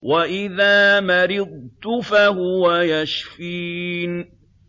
وَإِذَا مَرِضْتُ فَهُوَ يَشْفِينِ